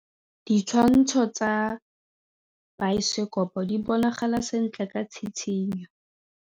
Ditshwantshô tsa biosekopo di bonagala sentle ka tshitshinyô.